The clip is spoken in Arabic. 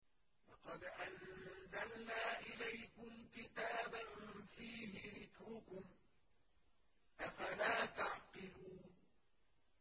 لَقَدْ أَنزَلْنَا إِلَيْكُمْ كِتَابًا فِيهِ ذِكْرُكُمْ ۖ أَفَلَا تَعْقِلُونَ